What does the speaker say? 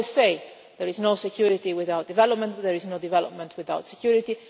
We always say there is no security without development, but there is no development without security.